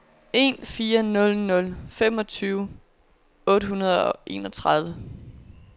en fire nul nul femogtyve otte hundrede og enogtredive